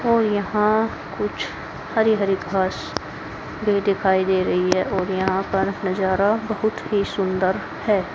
और यहां कुछ हरी हरी घास भी दिखाई दे रही है और यहां पर नजारा बहुत ही सुंदर है।